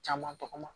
Caman tɔgɔ ma